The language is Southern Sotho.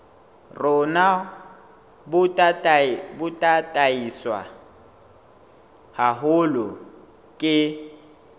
rona bo tataiswe haholo ke